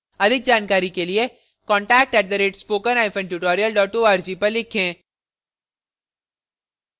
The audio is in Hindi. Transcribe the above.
अधिक जानकारी के लिए contact @spokentutorial org पर लिखें